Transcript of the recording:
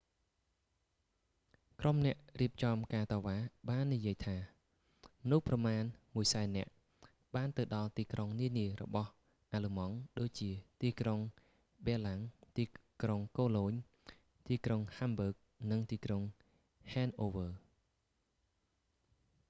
ក្រុមអ្នករៀបចំការតវ៉ា បាននិយាយថា មនុស្សប្រមាណ 100,000 នាក់ បានទៅដល់ទីក្រុងនានារបស់អាល្លឺម៉ង់ ដូចជា ទីក្រុងប៊ែរឡាំង ទីក្រុងកូឡូញ ទីក្រុងហាំប៊ើក និងទីក្រុងហែនអូវើ